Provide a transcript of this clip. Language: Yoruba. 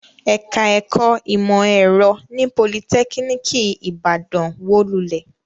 Ẹ̀ka-ẹ̀kọ́ ìmọ̀-ẹ̀rọ ní Politẹ́kíníkì Ìbàdàn wó lulẹ̀.